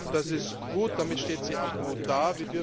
Das ist gut, damit steht sie auch gut da.